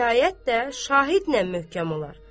Şikayət də şahidlən möhkəm olar.